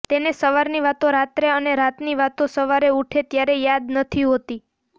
તેને સવારની વાતો રાત્રે અને રાતની વાતો સવારે ઊઠે ત્યારે યાદ નથી હોતી